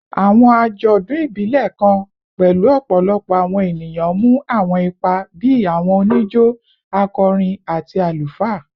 Awọn ajọdun ibilẹ kan pẹlu ọpọlọpọ awọn eniyan mu awọn ipa bii awọn onijo, akọrin, ati alufaa